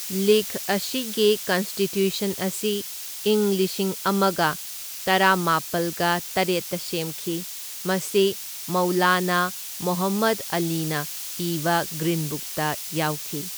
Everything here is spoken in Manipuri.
ꯂꯤꯒ ꯑꯁꯤꯒꯤ ꯀꯟꯁꯇꯤꯇ꯭ꯌꯨꯁꯟ ꯑꯁꯤ ꯏꯪ ꯂꯤꯁꯤꯡ ꯑꯃꯒ ꯇꯔꯥꯃꯥꯄꯜꯒ ꯇꯔꯦꯠꯇ ꯁꯦꯝꯈꯤ, ꯃꯁꯤ ꯃꯧꯂꯥꯅꯥ ꯃꯣꯍꯝꯃꯗ ꯑꯂꯤꯅ ꯏꯕ ꯒ꯭ꯔꯤꯟ ꯕꯨꯛꯇ ꯌꯥꯎꯈꯤ꯫